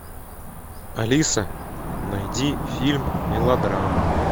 алиса найди фильм мелодраму